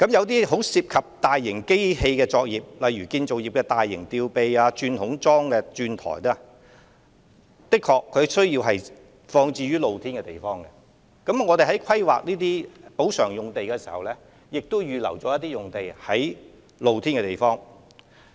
當然，有些涉及大型機器的作業，例如建造業的大型吊臂、鑽孔樁的鑽台，的確需要放置於露天場地，故此我們在規劃有關的補償用地時，已在露天場地預留貯存用地。